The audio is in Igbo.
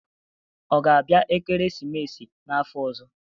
Ọ ga-abịa ekeresimesi n'afọ ọzọ?